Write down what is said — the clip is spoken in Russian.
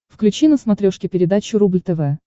включи на смотрешке передачу рубль тв